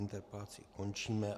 Interpelaci končíme.